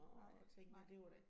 Nej, nej